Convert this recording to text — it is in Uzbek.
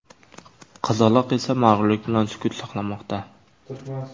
Qizaloq esa mag‘rurlik bilan sukut saqlamoqda.